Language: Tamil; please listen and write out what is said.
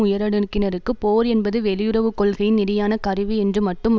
உயரடுக்கினருக்கு போர் என்பது வெளியுறவு கொள்கையின் நெறியான கருவி என்று மட்டும்